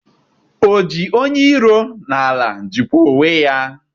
Oji onye iro n'ala jikwa onwe ya